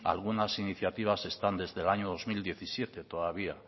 algunas iniciativas están desde el año dos mil diecisiete todavía